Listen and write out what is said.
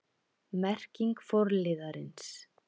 Merking forliðarins